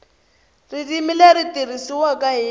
ririmi leri tirhisiwaka hi